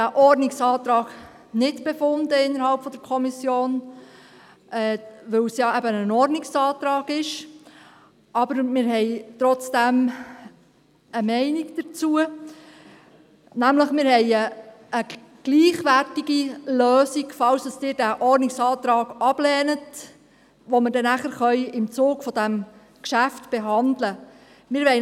der SiK. Wir haben innerhalb der Kommission nicht über diesen Ordnungsantrag befunden, da es ja eben ein Ordnungsantrag ist, aber wir haben trotzdem eine Meinung dazu, nämlich: Falls Sie den Ordnungsantrag ablehnen, haben wir eine gleichwertige Lösung, die wir nachher im Zuge dieses Geschäfts behandeln können.